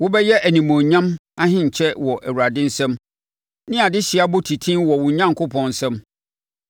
Wobɛyɛ animuonyam ahenkyɛ wɔ Awurade nsam, ne adehyeɛ abɔtiten wɔ wo Onyankopɔn nsam.